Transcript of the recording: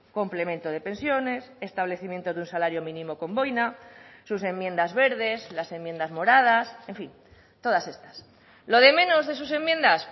complemento de pensiones establecimiento de un salario mínimo con boina sus enmiendas verdes las enmiendas moradas en fin todas estas lo de menos de sus enmiendas